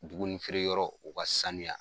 Dumuni feere yɔrɔw u ka sanuya.